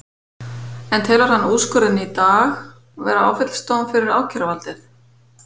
En telur hann úrskurðinn í dag vera áfellisdóm fyrir ákæruvaldið?